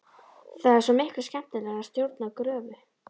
Það er svo miklu skemmtilegra að stjórna gröfu.